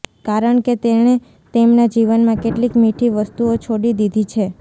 કારણ કે તેણે તેમના જીવનમાં કેટલીક મીઠી વસ્તુઓ છોડી દીધી છે